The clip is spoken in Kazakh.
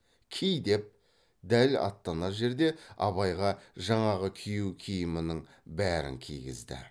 ки деп дәл аттанар жерде абайға жаңағы күйеу киімінің бәрін кигізді